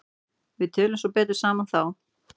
Við tölum svo betur saman þá.